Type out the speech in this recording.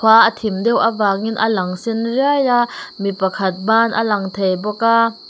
khua a thim deuh avangin a lang sen riai a mi pakhat ban a lang thei bawk a.